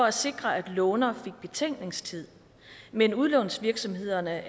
at sikre at låner fik betænkningstid men udlånsvirksomhederne